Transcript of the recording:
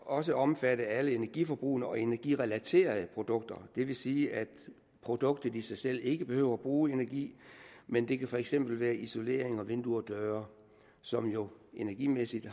også omfatte alle energiforbrugende og energirelaterede produkter det vil sige at produktet i sig selv ikke behøver at bruge energi men det kan for eksempel være isolering og vinduer og døre som jo energimæssigt